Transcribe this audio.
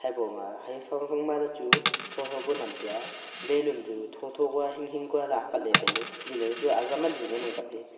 habo haphang phag ma le chu tho tho ku nam tai a balloon chu tho tho kya hing hing kyo ley apat ley tailey pillar chu azam ali ngan ang kaey.